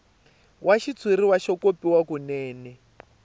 wa xitshuriwa xo kopiwa kunene